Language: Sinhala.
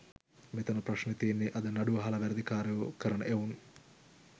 මෙතන ප්‍රශ්නේ තියෙන්නේ අද නඩු අහල වැරදි කාරයෝ කරන එවුන්